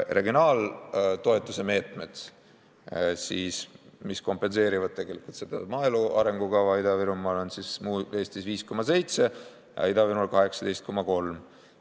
Regionaaltoetuse meetmed, mis kompenseerivad tegelikult maaelu arengukava meetmeid Ida-Virumaal: Eestis 5,7%, aga Ida-Virumaal 18,3%.